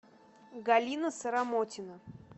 галина саромотина